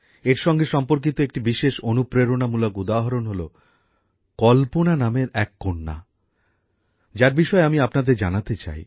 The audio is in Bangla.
এর সঙ্গে সম্পর্কিত একটি বিশেষ অনুপ্রেরণামূলক উদাহরণ হল কল্পনা নামের এক কন্যা যার বিষয়ে আমি আপনাদের জানাতে চাই